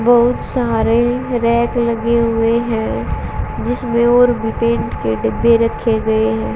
बहुत सारे रैक लगे हुए हैं जिसमें और भी पेंट के डब्बे रखे गए हैं।